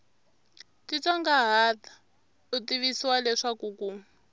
titsongahata u tivisiwa leswaku ku